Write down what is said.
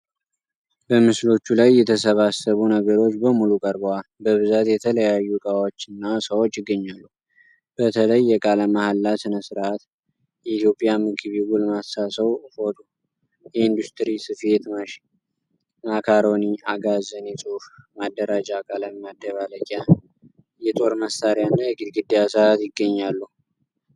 በምስሎቹ ላይ የተሰባሰቡ ነገሮች በሙሉ ቀርበዋል። በብዛት የተለያዩ እቃዎች እና ሰዎች ይገኛሉ። በተለይ፣ የቃለ መሐላ ሥነ ሥርዓት፣ የኢትዮጵያ ምግብ፣ የጎልማሳ ሰው ፎቶ፣ የኢንዱስትሪ ስፌት ማሽን፣ ማካሮኒ፣ አጋዘን፣ የጽሑፍ ማደራጃ፣ ቀለም መደባለቂያ፣ የጦር መሳሪያ እና የግድግዳ ሰዓት ይገኛሉ።